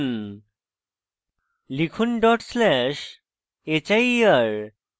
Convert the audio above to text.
enter টিপুন লিখুন dot slash hier